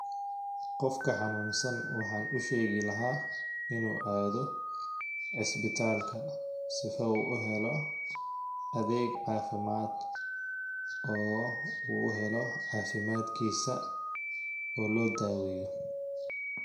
Qofka xanuunsan waxaan u sheegi lahaa inuu aado isbitalka sifa uu u helo adeeg cafimaad oo u helo cafimaadkiisa oo loo daaweeyo.